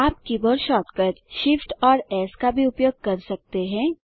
आप keyboard shortcut Shift और S का भी उपयोग कर सकते हैं